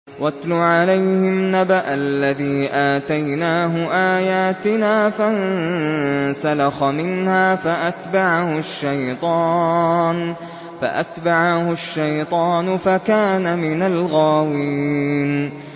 وَاتْلُ عَلَيْهِمْ نَبَأَ الَّذِي آتَيْنَاهُ آيَاتِنَا فَانسَلَخَ مِنْهَا فَأَتْبَعَهُ الشَّيْطَانُ فَكَانَ مِنَ الْغَاوِينَ